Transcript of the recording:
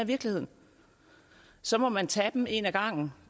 virkeligheden så må man tage dem en ad gangen